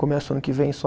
Começo ano que vem só.